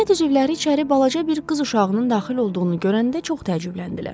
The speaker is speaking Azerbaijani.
Cəmiyyət üzvləri içəri balaca bir qız uşağının daxil olduğunu görəndə çox təəccübləndilər.